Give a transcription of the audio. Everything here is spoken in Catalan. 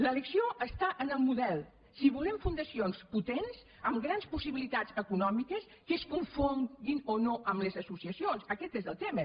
l’elecció està en el model si volem fundacions potents amb grans possibilitats econòmi·ques que es confonguin o no amb les associacions aquest és el tema